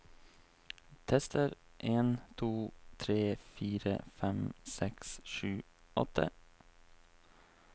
Tester en to tre fire fem seks sju åtte